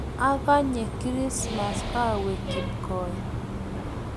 akanye krismas awe kipkokoe